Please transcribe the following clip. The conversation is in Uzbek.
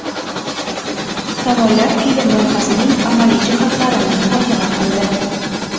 Tomonlar film loyihasining amaliy jihatlarini muhokama qildi.